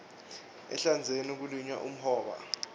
ehlandzeni kulinywa umhoba